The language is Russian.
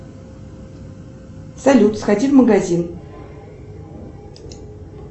салют сходи в магазин